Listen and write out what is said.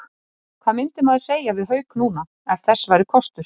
Hvað myndi maður segja við Hauk núna, ef þess væri kostur?